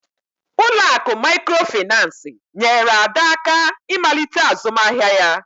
Ụlọ akụ Mikrofaịnsi nyeere Ada aka ịmalite azụmahịa ya